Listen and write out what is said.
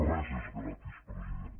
res és gratis president